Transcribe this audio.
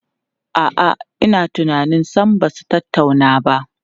A'a, ina tunanin sam ba su tattauna ba.